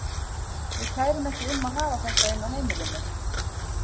Ég kæri mig ekki um að hafa þetta inni á heimilinu.